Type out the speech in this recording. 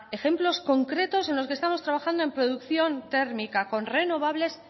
ejemplos concretos en los que estamos trabajando en producción térmica con renovables